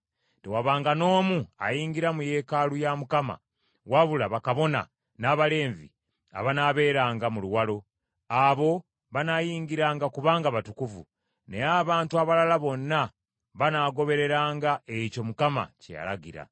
Tewabanga n’omu ayingira mu yeekaalu ya Mukama wabula bakabona, n’Abaleevi abanaabeeranga mu luwalo; abo banaayingiranga kubanga batukuvu, naye abantu abalala bonna banaagobereranga ekyo Mukama kye yalagira.